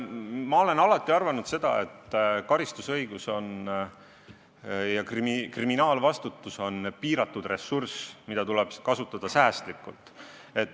Ma olen alati arvanud, et karistusõigus ja kriminaalvastutus on piiratud ressurss, mida tuleb kasutada säästlikult.